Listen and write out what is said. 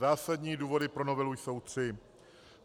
Zásadní důvody pro novelu jsou tři.